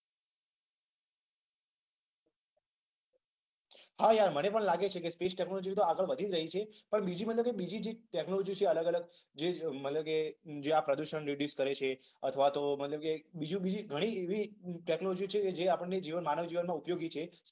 હા યાર, મને પણ લાગે છે કે સ્પેસ ટેક્નોલોજી તો આગળ વધી રહી છે. પણ બીજી મતલબ કે બીજી જે ટેક્નોલોજી છે અલગ અલગ. જે મતલબ કે આ પ્રદુષણ રિડ્યુસ કરે છે. અથવા તો. માનો કે બીજી ઘણી એવી ટેક્નોલોજી છે જે આપણને માનવ જીવનમાં ઉપયોગી છે.